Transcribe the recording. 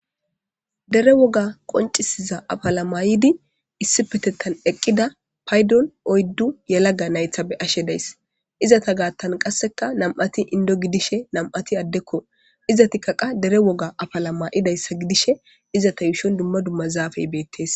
Dere woga qoncisiza apala mayidi issi petettan eqqida paydon oyddu yalaga naythabe ashe dayss izata gaattan qasseka nam7ati indo gidishe namati addekko izatikaqa dere woga afalama'idayssa gidishe izata yuushon dumma dumma zaafey beettes.